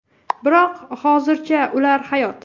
Biroq hozircha ular hayot.